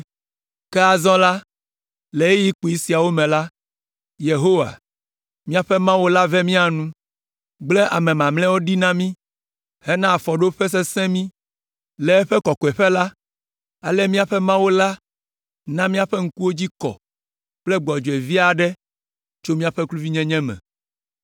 “Ke azɔ la, le ɣeyiɣi kpui siawo me la, Yehowa, míaƒe Mawu la ve mía nu, gblẽ ame mamlɛawo ɖi na mí hena afɔɖoƒe sesẽ mí le eƒe kɔkɔeƒe la, ale míaƒe Mawu la na míaƒe ŋkuwo dzi kɔ kple gbɔdzɔe vi aɖe tso míaƒe kluvinyenye me.